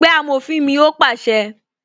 "Pé amòfin mi "ó pàṣẹ